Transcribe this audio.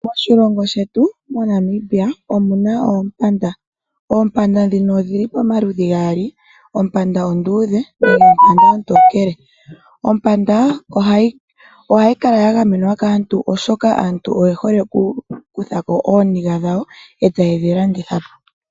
Moshilongo shetu moNamibia omuna oompanda. Oompanda ndhoka dhili pamaludhi gaali ompanda onduudhe nompanda ontokele. Ompanda ohayi kala ya gamenwa kaantu oshoka aantu oye hole oku kuthako ooniga dhawo etaye dhi landithapo.